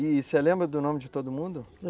E você lembra do nome de todo mundo?